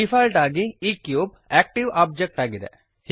default ಆಗಿ ಈ cube active object ಆಗಿದೆ